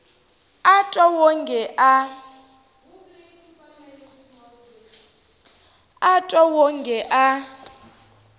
a a twa wonge a